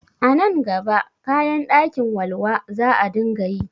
A nan gaba kayan ɗakin walwa za a dinga yi